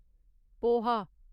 poha